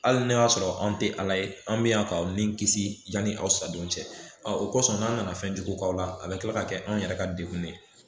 Hali n'a y'a sɔrɔ anw tɛ ala ye anw bɛ yan k'aw ni kisi yani aw sa don cɛ ɔ o kosɔn n'an nana fɛnjugu k'aw la a bɛ tila ka kɛ anw yɛrɛ ka degun de ye